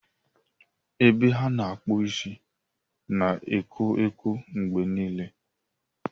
Ebe a na-akpụ isi na ekwo ekwo mgbe niile.